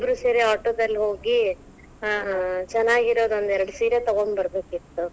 ಇಬ್ಬರು ಸೇರಿ auto ದಲ್ಲಿ ಹೋಗಿ, ಚೆನ್ನಾಗಿರೊದೊಂದೆರಡ್ ಸೀರೆ ತಗೊಂಡ್ ಬರಬೇಕಿತ್ತ್.